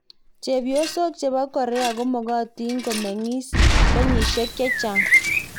Chephosok chepo Korea komokotin komeng'is kenyishek chechang.